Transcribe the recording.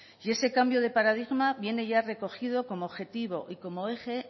ese cambio de paradigma viene ya recogido como objetivo y eje